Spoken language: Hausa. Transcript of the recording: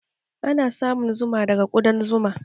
Ana samun zuma daga kuɗan zuma